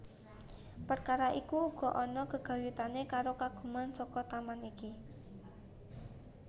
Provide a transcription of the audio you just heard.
Perkara iku uga ana gegayutané karo kagunan saka taman iki